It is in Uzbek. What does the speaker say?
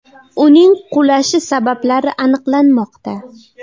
Uning qulashi sabablari aniqlanmoqda.